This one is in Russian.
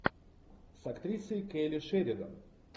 с актрисой келли шеридан